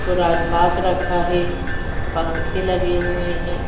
पुरान पाक रखा है। पंखे लगे हुए हैं।